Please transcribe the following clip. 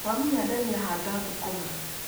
Wamunya ndania handa thũkũma.